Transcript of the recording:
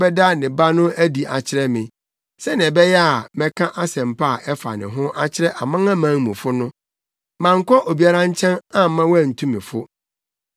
sɛ ɔbɛda ne Ba no adi akyerɛ me, sɛnea ɛbɛyɛ a mɛka Asɛmpa a ɛfa ne ho akyerɛ amanamanmufo no, mankɔ obiara nkyɛn amma wantu me fo;